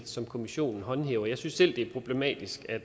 som kommissionen håndhæver jeg synes selv det er problematisk at